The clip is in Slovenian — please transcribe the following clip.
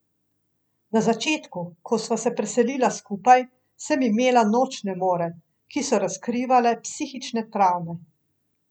Na začetku, ko sva se preselila skupaj, sem imela nočne more, ki so razkrivale psihične travme.